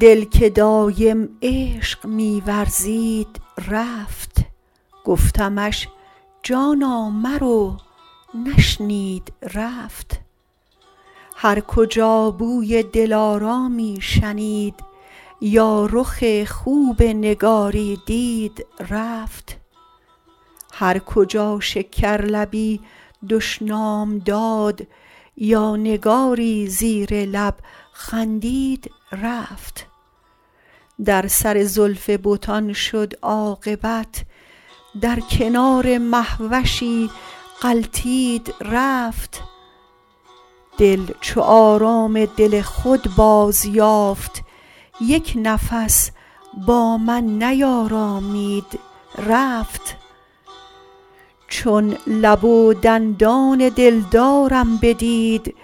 دل که دایم عشق می ورزید رفت گفتمش جانا مرو نشنید رفت هر کجا بوی دلارامی شنید یا رخ خوب نگاری دید رفت هرکجا شکرلبی دشنام داد یا نگاری زیر لب خندید رفت در سر زلف بتان شد عاقبت در کنار مهوشی غلتید رفت دل چو آرام دل خود بازیافت یک نفس با من نیارامید رفت چون لب و دندان دلدارم بدید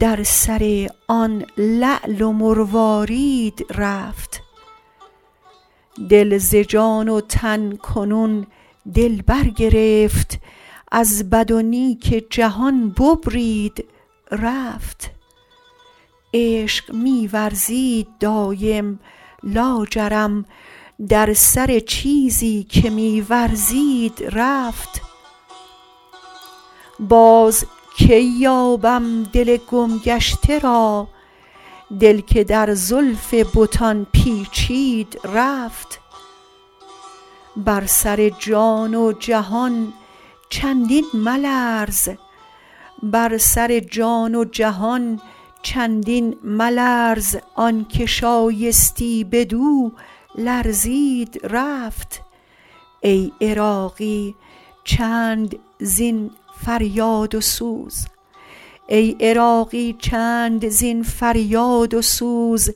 در سر آن لعل و مروارید رفت دل ز جان و تن کنون دل برگرفت از بد و نیک جهان ببرید رفت عشق می ورزید دایم لاجرم در سر چیزی که می ورزید رفت باز کی یابم دل گم گشته را دل که در زلف بتان پیچید رفت بر سر جان و جهان چندین ملرز آنکه شایستی بدو لرزید رفت ای عراقی چند زین فریاد و سوز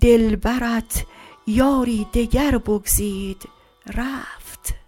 دلبرت یاری دگر بگزید رفت